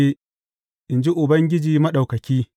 in ji Ubangiji Maɗaukaki.